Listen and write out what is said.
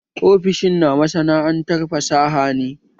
Ofishin na masana'antar fasaha ne